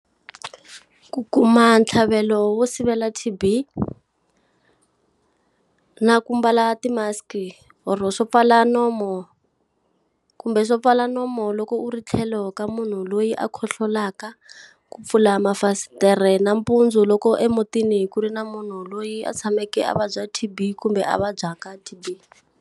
Ku kuma ntlhavelo wo sivela T_B na ku mbala ti-mask-i or swo pfala nomu kumbe swo pfala nomu loko u ri tlhelo ka munhu loyi a khohlolaka. Ku pfula mafasitere nampundzu loko emutini ku ri na munhu loyi a tshameke a vabya T_B kumbe a vabyaka T_B.